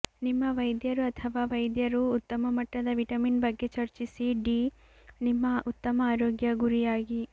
ನಿಮ್ಮ ವೈದ್ಯರು ಅಥವಾ ವೈದ್ಯರು ಉತ್ತಮ ಮಟ್ಟದ ವಿಟಮಿನ್ ಬಗ್ಗೆ ಚರ್ಚಿಸಿ ಡಿ ನಿಮ್ಮ ಉತ್ತಮ ಆರೋಗ್ಯ ಗುರಿಯಾಗಿ